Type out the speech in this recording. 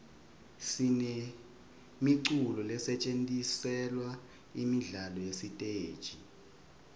sinemiculo lesetjentiselwa imidlalo yesiteji